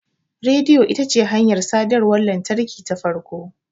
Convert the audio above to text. Rediyo ita ce hanyar sadarwar lantarki ta farko.